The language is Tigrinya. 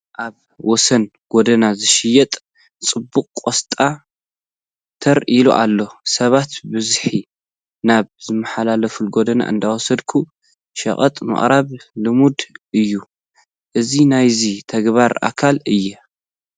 ኣብ ወሰን ጐደና ዝሽየጥ ፅቡቕ ቆስጣ ተር ኢሉ ኣሎ፡፡ ሰባት ብብዝሒ ናብ ዝመሓላለፍሉ ጎደና እንዳወሰድካ ሸቐጥ ምቕራብ ልሙድ እዩ፡፡ እዚ ናይዚ ተግባር ኣካል እዩ፡፡